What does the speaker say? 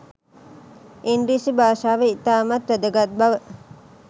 ඉංග්‍රීසි භාෂාව ඉතාමත් වැදගත් බව